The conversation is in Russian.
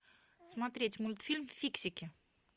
смотреть мультфильм фиксики